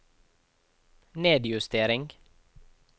nedjustering